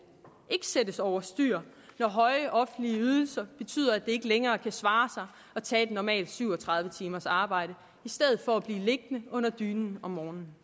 ikke sættes over styr når høje offentlige ydelser betyder at det ikke længere kan svare sig at tage et normalt syv og tredive timers arbejde i stedet for at blive liggende under dynen om morgenen